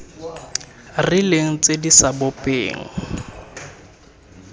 rileng tse di sa bopeng